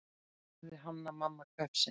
sagði Hanna-Mamma hvefsin.